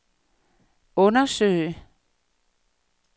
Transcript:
undersøge